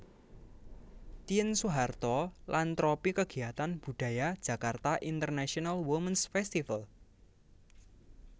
Tien Soeharto lan tropi kegiatan budaya Jakarta International Womens Festival